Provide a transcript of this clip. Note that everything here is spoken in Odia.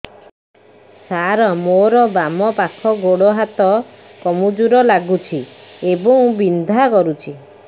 ସାର ମୋର ବାମ ପାଖ ଗୋଡ ହାତ କମଜୁର ଲାଗୁଛି ଏବଂ ବିନ୍ଧା କରୁଛି